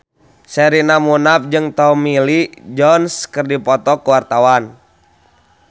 Sherina Munaf jeung Tommy Lee Jones keur dipoto ku wartawan